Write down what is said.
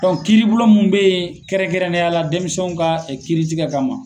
kiriblon mun bɛ yen kɛrɛnkɛrɛnnenya la denmisɛnw ka kiritikɛ kama.